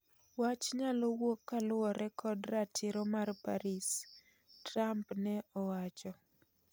"Wach nyalowuok kaluore kod ratiro mar Paris," Trump ne owacho.